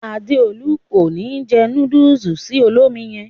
Adéolú ko ni jẹ núdùùsì sì olómi yẹn.